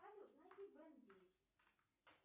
салют найди бен десять